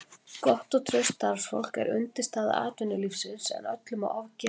Gott og traust starfsfólk er undirstaða atvinnulífsins en öllu má ofgera.